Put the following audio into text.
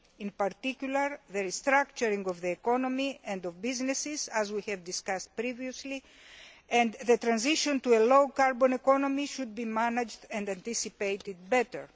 In particular, the restructuring of the economy and of businesses, as we discussed previously, and the transition to a low carbon economy, should be managed and anticipated better.